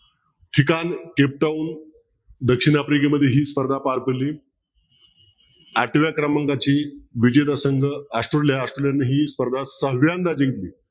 ठिकाण दक्षिण आफ्रिकेमध्ये ही स्पर्धा पार पडली आठव्या क्रमांकाची विजेता संघ ऑस्ट्रेलिया ही स्पर्धा सहाव्यांदा जिंकली.